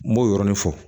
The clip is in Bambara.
N m'o yɔrɔni fɔ